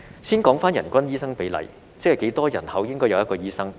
先說回人均醫生比例，即是多少人口應該有1名醫生。